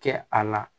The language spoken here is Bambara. Kɛ a la